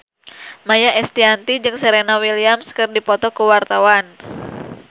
Maia Estianty jeung Serena Williams keur dipoto ku wartawan